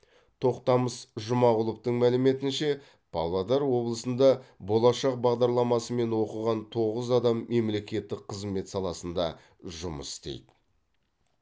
тоқтамыс жұмағұловтың мәліметінше павлодар облысында болашақ бағдарламасымен оқыған тоғыз адам мемлекеттік қызмет саласында жұмыс істейді